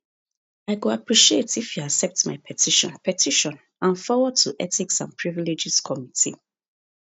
i go appreciate if you accept my petition petition and forward to ethics and privileges committee